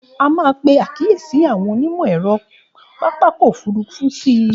A máa pe àkíyèsí àwọn onímọ̀-ẹ̀rọ pápákọ̀ òfurufú sí i.